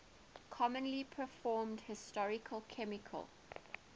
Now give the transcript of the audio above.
commonly performed histochemical